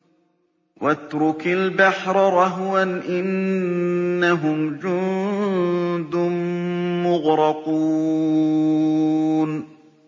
وَاتْرُكِ الْبَحْرَ رَهْوًا ۖ إِنَّهُمْ جُندٌ مُّغْرَقُونَ